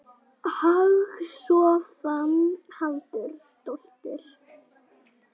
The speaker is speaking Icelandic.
Hagstofan- hagtölur.